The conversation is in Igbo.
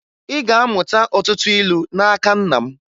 Ị ga-amụta ọtụtụ ilu n'aka nna m